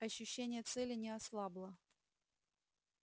ощущение цели не ослабло